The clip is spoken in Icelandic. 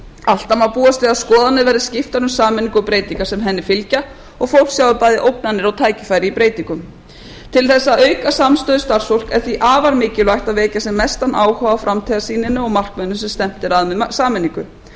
alltaf má búast við að skoðanir verði skiptar um sameiningu og breytingar sem henni fylgja og fólk sjái bæði ógnanir og tækifæri í breytingum til þess að auka samstöðu starfsfólks er því afar mikilvægt að vekja sem mestan áhuga á framtíðarsýninni og markmiðunum sem stefnt er að með sameiningu